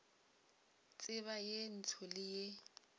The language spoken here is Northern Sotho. tseba ye ntsho le ye